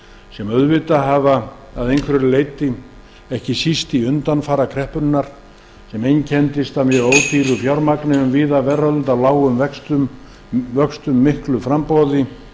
sem fóru offari að einhverju leyti ekki síst í undanfara kreppunnar sem einkenndist af mjög ódýru fjármagni um víða veröld af lágum vöxtum og miklu framboði